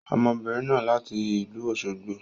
Ọmọbìnrin náà láti ìlú Òsogbo.